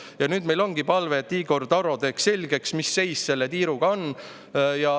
Ja nüüd meil ongi palve, et Igor Taro teeks selgeks, mis seis selle tiiruga on.